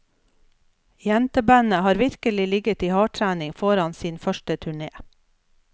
Jentebandet har virkelig ligget i hardtrening foran sin første turné.